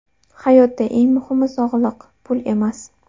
Hayotda eng muhimi sog‘liq, pul emas.